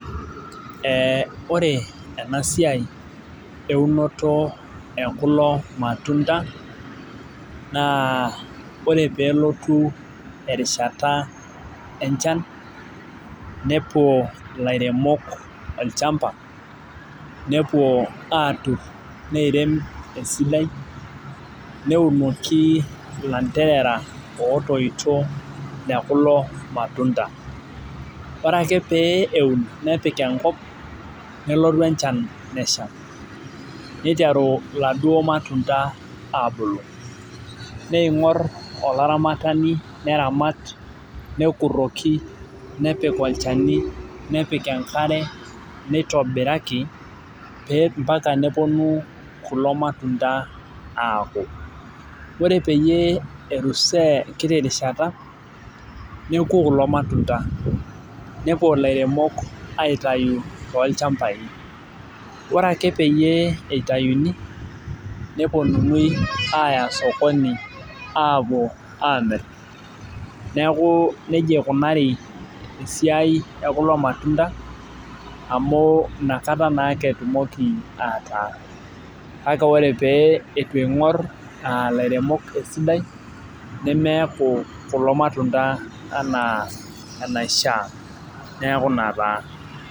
Ee ore ena siai eunoto ekulo matunda naa ore pee nelotu erishata enchan nepuo ilairemok olchampa. nepuo aatur neirem esidai, netumoki ilanterera lootoito le kulo matunda. ore ake pee eun nepik enkop. nelotu enchan nesha, niteru iladuok matunda aabulu. neingor olaramatani neramat, nekuroki, nepik olchani nepik enkare, neitobiraki ampaka nepuonu kulo matunda aaku. ore peyie elusoo enkiti rishata neku kulo matunda. nepuo ilairemok aitayu toolchampai. ore ake peyie itayuni, nepuonunui ,aaya sokoni aapuo Aamir. neeku nejia eikunari esiai ekulo matunda amu inakata naa ake etumoki aataa. kake ore pee eitu eing'or ilairemok esidai nemeeku kulo matunda anaa enaishaa. neeku Ina taa.